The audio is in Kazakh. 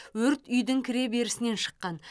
өрт үйдің кіреберісінен шыққан